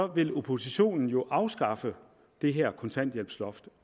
vil oppositionen jo afskaffe det her kontanthjælpsloft